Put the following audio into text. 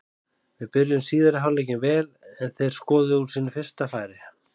Við byrjuðum síðari hálfleikinn vel en þeir skoruðu úr sínu fyrsta færi.